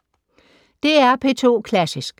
DR P2 Klassisk